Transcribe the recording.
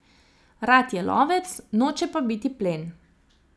Rad je lovec, noče pa biti plen.